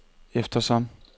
eftersom